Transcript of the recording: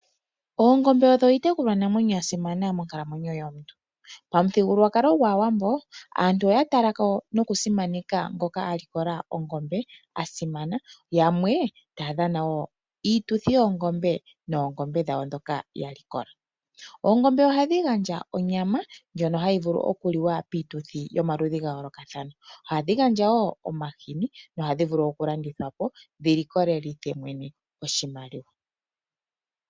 Oongombe odho iitekulwanamwenyo yasimana monkalamwenyo yomuntu. Pamuthigululwakalo gwAawambo aantu oya talako noku simaneka ngoka alikola ongombe asimana, yamwe taa dhana woo iituthi yoongombe noongombe dhawo ndhoka ya likola. Oongombe ohadhi gandja onyama ndjono hayi vulu okuliwa piituthi yomaludhi ga yoolokathana. Ohadhi gandja wo omahini na ohadhi vulu okulandithwapo dhi likolelithe mwene oshimaliwa.